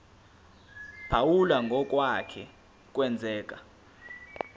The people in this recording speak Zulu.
phawula ngokwake kwenzeka